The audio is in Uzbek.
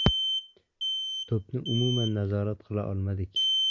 To‘pni umuman nazorat qila olmadik.